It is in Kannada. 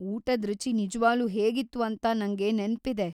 ಊಟದ್‌ ರುಚಿ ನಿಜವಾಗ್ಲೂ ಹೇಗಿತ್ತು ಅಂತ ನಂಗೆ ನೆನ್ಪಿದೆ.